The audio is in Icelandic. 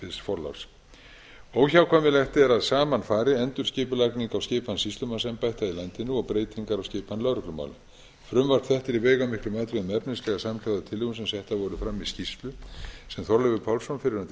alls óhjákvæmilegt er að saman fari endurskipulagning á skipan sýslumannsembætta í landinu og breytingar á skipan lögreglumála frumvarp þetta er í veigamiklum atriðum efnislega samhljóða tillögum sem settar voru fram í skýrslu sem þorleifur pálsson fyrrverandi sýslumaður